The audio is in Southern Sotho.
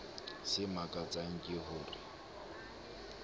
se makatsang ke ho re